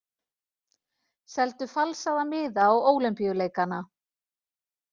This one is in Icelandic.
Seldu falsaða miða á Ólympíuleikana